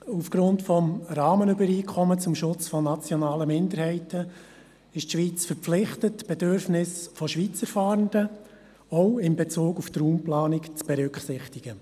Aufgrund des Rahmenübereinkommens zum Schutze nationaler Minderheiten ist die Schweiz verpflichtet, die Bedürfnisse von Schweizer Fahrenden auch in Bezug auf die Raumplanung zu berücksichtigen.